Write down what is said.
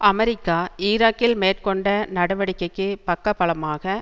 America ஈராக்கில் மேற்கொண்ட நடவடிக்கைக்கு பக்க பலமாக